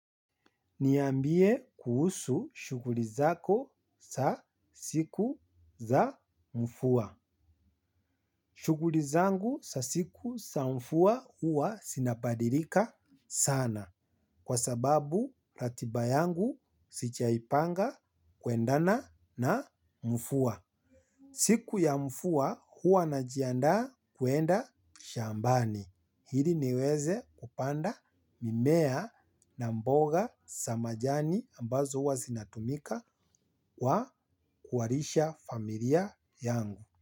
Niambie kuhusu shughuli zako za siku za mvua. Shughuli zangu za siku za mvua huwa zinabadilika sana kwa sababu ratiba yangu zijaipanga kuendana na mvua. Siku ya mvua huwa najiandaa kuenda shambani. Ili niweze kupanda mimea na mboga za majani ambazo huwa zinatumika kwa kuwalisha familia yangu.